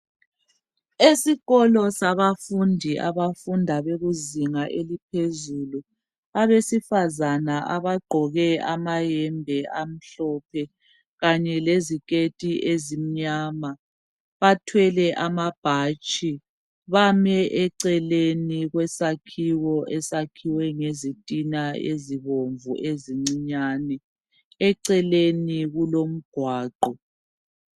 Esikolo sabafundi abafunda bekuzinga eliphezulu, abesifazana abagqoke amayembe amhlophe kanye leziketi ezimnyama bathwele amabhatshi bame eceleni kwesakhiwo esakhiwe ngezitina ezibomvu ezincinyane, eceleni kulomgwaqo.